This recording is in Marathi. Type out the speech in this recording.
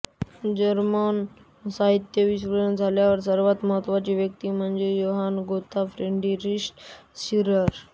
जर्मन साहित्यविश्वातल्या सर्वांत महत्त्वाच्या व्यक्ती म्हणजे योहान गोथ फ्रेडरिश शिलर